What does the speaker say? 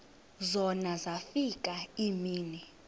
zona zafika iimini